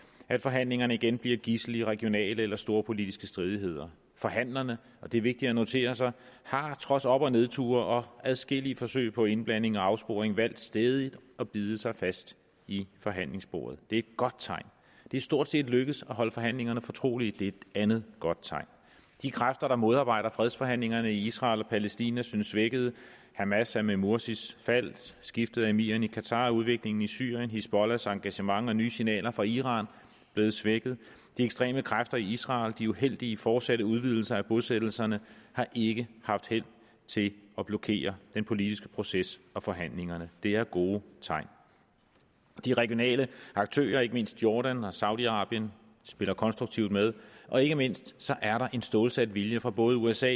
at forhandlingerne igen bliver gidsel i regionale eller storpolitiske stridigheder forhandlerne og det er vigtigt at notere sig har trods op og nedture og adskillige forsøg på indblanding og afsporing valgt stædigt at bide sig fast i forhandlingsbordet det er et godt tegn det er stort set lykkedes at holde forhandlingerne fortrolige det er et andet godt tegn de kræfter der modarbejder fredsforhandlingerne i israel og palæstina synes svækkede hamas er med morsis fald skiftet af emiren i qatar udviklingen i syrien hizbollahs engagement og nye signaler fra iran blevet svækket de ekstreme kræfter i israel og de uheldige fortsatte udvidelser af bosættelserne har ikke haft held til at blokere den politiske proces og forhandlingerne det er gode tegn de regionale aktører ikke mindst jordan og saudi arabien spiller konstruktivt med og ikke mindst er der en stålsat vilje fra både usa